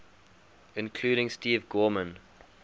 including steve gorman